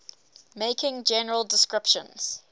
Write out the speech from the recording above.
making general descriptions